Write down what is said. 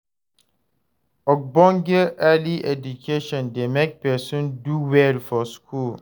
Ogbonge early education de make person do well for school